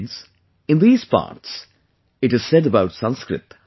Friends, in these parts, it is said about Sanskrit